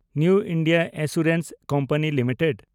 new India assurance company limited